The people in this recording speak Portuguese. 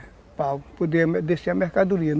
É, para poder descer a mercadoria.